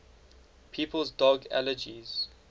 people's dog allergies